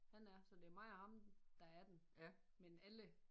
Han er så det er mig og ham der er den men alle